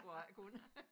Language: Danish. Hvor jeg ikke kunne